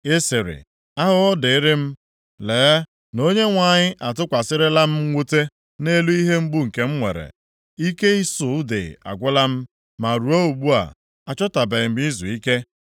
Ị sịrị, ‘Ahụhụ dịịrị m! Lee na Onyenwe anyị atụkwasịrịla m mwute nʼelu ihe mgbu nke m nwere. Ike ịsụ ude agwụla m, ma ruo ugbu a, achọtabeghị m izuike.’